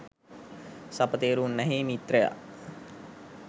සපතේරු උන්නැහේ මිත්‍රයා